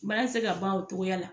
Bana te se ka ban o togoya la